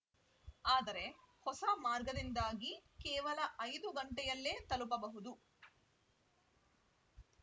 ಆದರೆ ಹೊಸ ಮಾರ್ಗದಿಂದಾಗಿ ಕೇವಲ ಐದು ಗಂಟೆಯಲ್ಲೇ ತಲುಪಬಹುದು